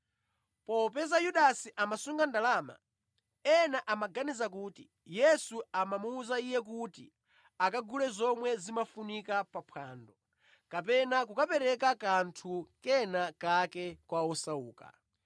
Popeza Yudasi amasunga ndalama, ena amaganiza kuti Yesu amamuwuza iye kuti akagule zomwe zimafunika pa phwando, kapena kukapereka kanthu kena kake kwa osauka.